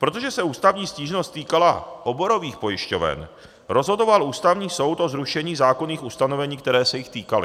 Protože se ústavní stížnost týkala oborových pojišťoven, rozhodoval Ústavní soud o zrušení zákonných ustanovení, která se jich týkala.